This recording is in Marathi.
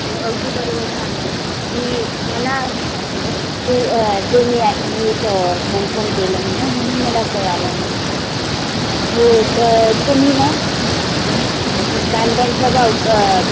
अगदी बरोबर सांगते. मी मला असंंवाटलं तु अं ते मी ऐ नीट confirm केलं नाहीना म्हणून मला कळालं नाही. हो तर तुम्ही ना आन कांद्यांचा भाव क